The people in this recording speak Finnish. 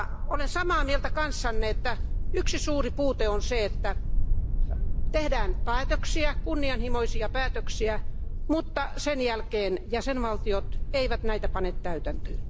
Olen samaa mieltä kanssanne, että yksi suuri puute on se, että tehdään kunnianhimoisia päätöksiä, mutta sen jälkeen jäsenvaltiot eivät näitä pane täytäntöön.